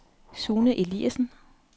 Sune Eliasen